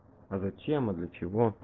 а зачем и для чего